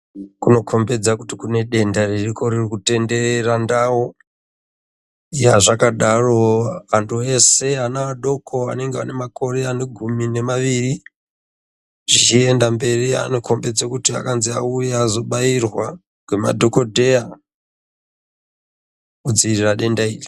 Kunokombedza kuti kudenda ririko ririkutenderera ndau yazvakadaro antu eshe ana adoko anenge anemakore anegumi nema iri zvichienda mberi anokombedze kuti akanzi auye azobairwa ngema dhokodheya kudziirira denda iri.